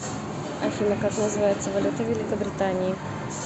афина как называется валюта в великобритании